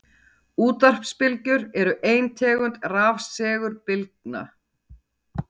Útvarpsbylgjur eru ein tegund rafsegulbylgna.